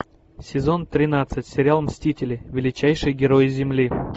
сезон тринадцать сериал мстители величайшие герои земли